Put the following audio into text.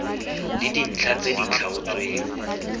le dintlha tse di tlhaotsweng